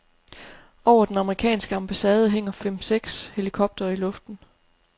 Over den amerikanske ambassade hænger fem seks helikoptere i luften.